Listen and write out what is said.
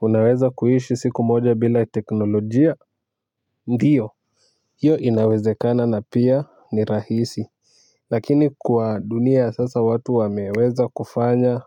Unaweza kuishi siku moja bila teknolojia ndio. Hio inawezekana na pia ni rahisi. Lakini kwa dunia ya sasa watu wameweza kufanya